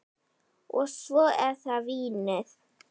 Og svo er það vínið.